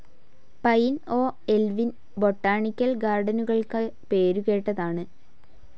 Pine ഓഹ്‌ എൽവിൻ botanical ഗാർഡനുകൾക്ക് പേരുകേട്ടതാണ്.